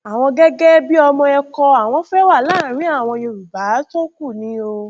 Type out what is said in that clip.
àwọn gẹgẹ bíi ọmọ ẹkọ àwọn fẹẹ wà láàrin àwọn yorùbá tó kù ni o